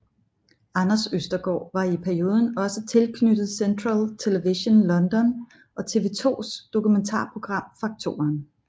Anders Østergaard var i perioden også tilknyttet Central Television London og TV 2s dokumentarprogram Fak2eren